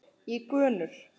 í gönur.